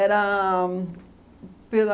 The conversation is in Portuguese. pela...